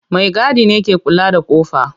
Maigadi ne ke kula da kofa.